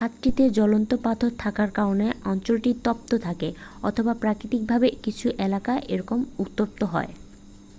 খাতটিতে জ্বলন্ত পাথর থাকার কারণে অঞ্চলটি তপ্ত থাকে অথবা প্রাকৃতিক ভাবেই কিছু এলাকা এরকম উত্তপ্ত হয়